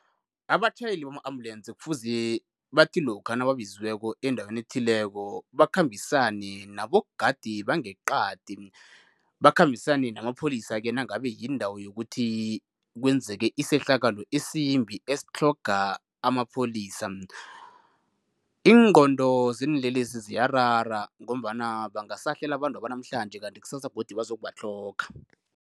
Abatjhayeli bama-ambulensi kufuze bathi lokha nababizweko endaweni ethileko, bakhambisane nabogadi bangeqadi, bakhambisane namapholisa-ke nangabe yindawo yokuthi kwenzeke isehlakalo isimbi esitlhoga amapholisa. Ingqondo zeenlelesi ziyarara ngombana bangasahlela abantwaba namhlanje kanti ksasa godu bazokubatlhoga.